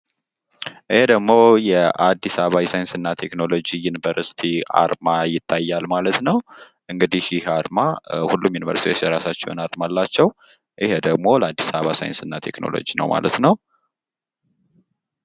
ይህ የአዲስ አበባ ዩኒቨርሲቲ ቴክኖሎጂ አርማ ነው ።እንግዲህ ሁሉም ዩኒቨርስቲዎች የራሳቸው አርማ አላቸው ይህ ደግሞ ለአዲስ አበባ ዩኒቨርስቲ ቴክኖሎጂ ልዩ አርማኖ ነው ።